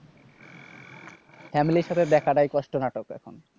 family র সাথে দেখাটাই কষ্ট নাটক এখন।